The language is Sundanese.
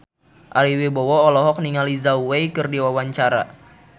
Ari Wibowo olohok ningali Zhao Wei keur diwawancara